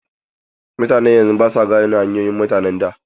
Mutanen yanzu basu gane hanyoyin mutanen da.